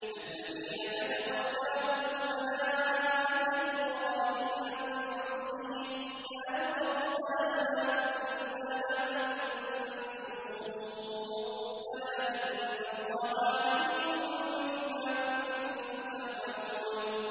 الَّذِينَ تَتَوَفَّاهُمُ الْمَلَائِكَةُ ظَالِمِي أَنفُسِهِمْ ۖ فَأَلْقَوُا السَّلَمَ مَا كُنَّا نَعْمَلُ مِن سُوءٍ ۚ بَلَىٰ إِنَّ اللَّهَ عَلِيمٌ بِمَا كُنتُمْ تَعْمَلُونَ